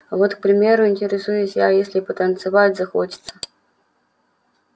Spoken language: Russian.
а вот к примеру интересуюсь я если потанцевать захочется